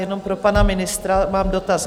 Jenom pro pana ministra mám dotaz.